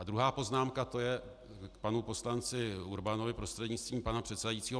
A druhá poznámka, to je k panu poslanci Urbanovi prostřednictvím pana předsedajícího.